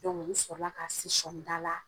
n sɔrɔla ka se sɔɔnida la